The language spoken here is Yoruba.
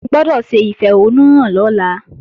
Ẹ gbọ́dọ̀ ṣe ìfẹ̀hónúhàn lọ́la!